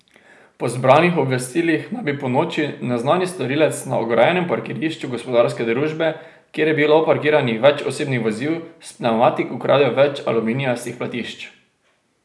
Po zbranih obvestilih naj bi ponoči neznani storilec na ograjenem parkirišču gospodarske družbe, kjer je bilo parkiranih več osebnih vozil, s pnevmatik ukradel več aluminijastih platišč.